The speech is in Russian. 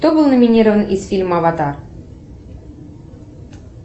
кто был номинирован из фильма аватар